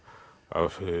af